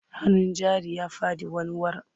Hannun jarin ya faɗi wanwar.